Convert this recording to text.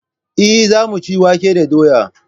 Eh yau mun ci wake da doya.